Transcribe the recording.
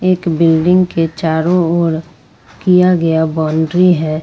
एक बिल्डिंग के चारों ओर किया गया बाउंड्री है।